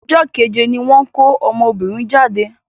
Ọjọ́ kéje ní wọ́n ko ọmọbìnrin jáde.